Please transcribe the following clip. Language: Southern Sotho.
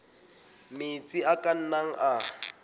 metsi a ka nnang a